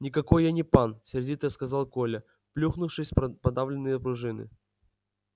никакой я не пан сердито сказал коля плюхнувшись в продавленные пружины